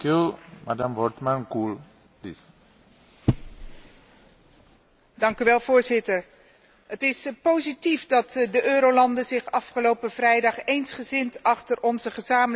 Voorzitter, het is positief dat de eurolanden zich afgelopen vrijdag eensgezind achter onze gezamenlijke euro hebben geschaard, al is de weg naar een nieuw verdrag nog vol vraagtekens.